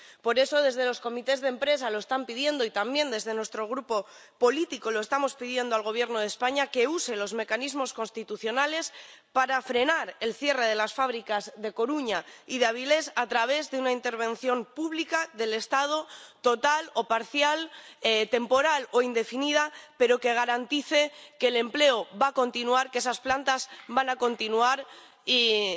Por eso, desde los comités de empresa están pidiendo, y también desde nuestro grupo político estamos pidiendo al Gobierno de España que use los mecanismos constitucionales para frenar el cierre de las fábricas de Coruña y de Avilés a través de una intervención pública del Estado, total o parcial, temporal o indefinida, pero que garantice que el empleo va a continuar, que esas plantas van a continuar y que se